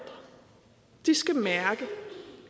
skal mærke